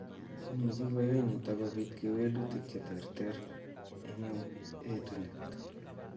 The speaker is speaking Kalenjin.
Imuchi koyai nitok kobit kewelutik cheterter eng' etunet